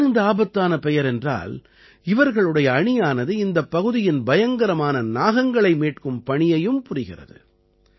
ஏன் இந்த ஆபத்தான பெயர் என்றால் இவர்களுடைய அணியானது இந்தப் பகுதியின் பயங்கரமான நாகங்களை மீட்கும் பணியையும் புரிகிறது